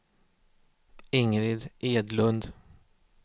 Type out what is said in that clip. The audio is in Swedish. Ingrid Edlund